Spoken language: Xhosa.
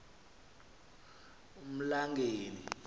emlangeni